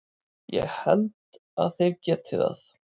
Ég held að þeir geti það.